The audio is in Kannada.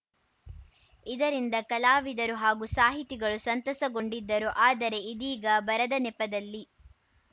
ಇದರಿಂದ ಕಲಾವಿದರು ಹಾಗೂ ಸಾಹಿತಿಗಳು ಸಂತಸಗೊಂಡಿದ್ದರು ಆದರೆ ಇದೀಗ ಬರದ ನೆಪದಲ್ಲಿ